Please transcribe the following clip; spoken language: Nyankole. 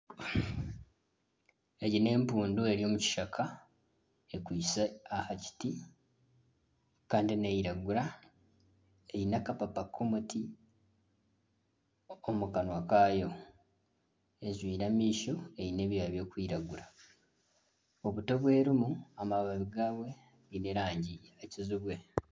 Egi n'empundu eri omu kishaka ekwitse aha kiti kandi neeyiragura eine akapapa k'omuti ak'omu kanwa kaayo, ejwire amaisho eine ebyoya birikwiragura obuti obu erimu bwine amababi g'erangi yakijubwe